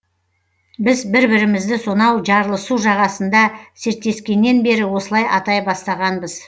біз бір бірімізді сонау жарлысу жағасында серттескеннен бері осылай атай бастағанбыз